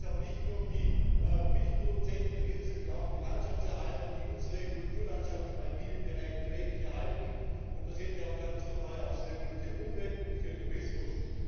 Da geht es aber nicht nur um die Milchproduzenten, da geht es nämlich auch um die Landschaftserhalte, die unsere Kulturlandschaft im alpinen Bereich pfleglich erhalten, und das hätte ja auch katastrophale Auswirkungen für die Umwelt und den Tourismus.